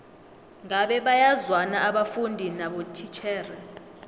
ngabe bayazwana abafundi nabotitjhere